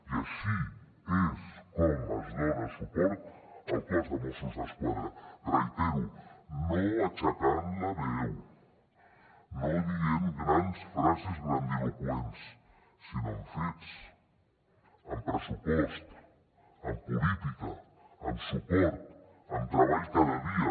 i així és com es dona suport al cos de mossos d’esquadra ho reitero no aixecant la veu no dient grans frases grandiloqüents sinó amb fets amb pressupost amb política amb suport amb treball cada dia